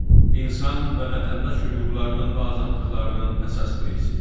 İnsan və vətəndaş hüquqlarının və azadlıqlarının əsas prinsipi.